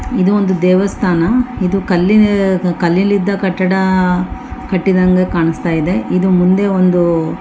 ಇದು ಒಂದು ದೇವಸ್ಥಾನ ಇದು ಕಲ್ಲಿ ಕಲ್ಲಿಲಿದ್ದ ಕಟ್ಟಡ ಕಟ್ಟಿದ ಹಂಗೆ ಕಾಣ್ಸ್ತಾ ಇದೆ ಇದು ಮುಂದೆ ಒಂದು --